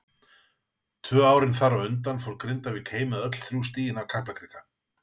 Tvö árin þar á undan fór Grindavík heim með öll þrjú stigin af Kaplakrika.